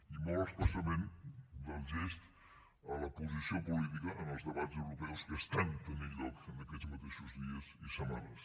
i molt especialment del gest a la posició política en els debats europeus que estan tenint lloc en aquests mateixos dies i setmanes